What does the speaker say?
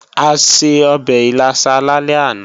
A se ọbẹ̀ ìlàsà lálẹ́ àná